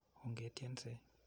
Onge tyense.